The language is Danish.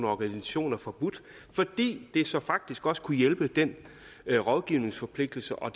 organisationer forbudt fordi det så faktisk også kunne hjælpe den rådgivningsforpligtelse og